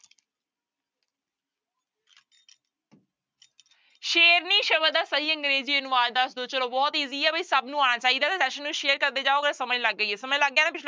ਸ਼ੇਰਨੀ ਸ਼ਬਦ ਦਾ ਸਹੀ ਅੰਗਰੇਜ਼ੀ ਅਨੁਵਾਦ ਦੱਸ ਦਓ ਚਲੋ ਬਹੁਤ easy ਹੈ ਬਈ ਸਭ ਨੂੰ ਆਉਣਾ ਚਾਹੀਦਾ ਤੇ session ਨੂੰ share ਕਰਦੇ ਜਾਓਗੇ ਤਾਂ ਸਮਝ ਲੱਗ ਜਾਏਗੀ ਸਮਝ ਲੱਗ ਗਿਆ ਨਾ